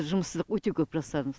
жұмыссыздық өте көп жастардың